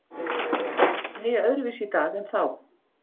Bændur heyja öðruvísi í dag en þá.